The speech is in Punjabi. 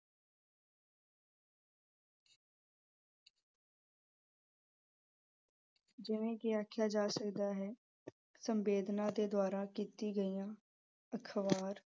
ਜਿਵੇਂ ਕਿ ਆਖਿਆ ਜਾ ਸਕਦਾ ਹੈ ਸੰਵੇਦਨਾ ਦੇ ਦੁਆਰਾ ਕੀਤੀ ਗਈਆ । ਅਖ਼ਬਾਰ